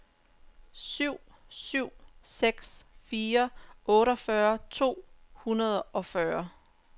syv syv seks fire otteogfyrre to hundrede og fyrre